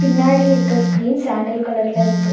பின்னாடி இருக்க ஸ்கிரீன் சாண்டில் கலர்ல இருக்கு.